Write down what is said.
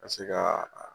Ka se ka